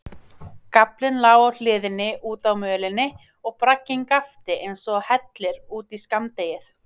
Gaflinn lá á hliðinni útá mölinni og bragginn gapti einsog hellir út í skammdegið.